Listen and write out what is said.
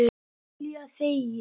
Júlía þegir.